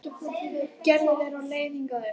Gerður er á leið hingað upp.